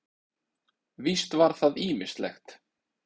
Víst var það ýmislegt.